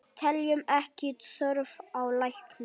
Teljum ekki þörf á lækni!